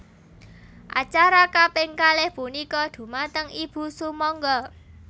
Acara kaping kalih punika dhumateng Ibu sumangga